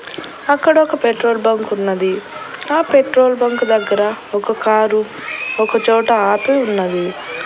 అక్కడ ఒక పెట్రోల్ బంకున్నది ఆ పెట్రోల్ బంక్ దగ్గర ఒక కారు ఒకచోట ఆపి ఉన్నది.